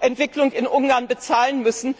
Entwicklung in Ungarn bezahlen müssen.